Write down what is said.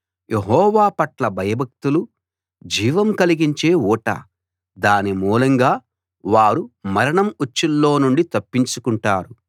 యెహోవా పట్ల భయభక్తులు జీవం కలిగించే ఊట దాని మూలంగా వారు మరణం ఉచ్చుల్లో నుండి తప్పించు కుంటారు